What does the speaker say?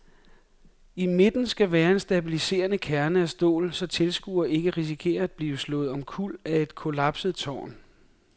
I midten skal være en stabiliserende kerne af stål, så tilskuere ikke risikerer at blive slået omkuld af et kollapset tårn.